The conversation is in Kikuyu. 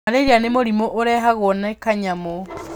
Malaria nĩ mũrimũ ũrehagwo nĩ kanyamũ.